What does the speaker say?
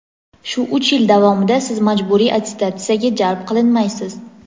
Shu uch yil davomida Siz majburiy attestatsiyaga jalb qilinmaysiz.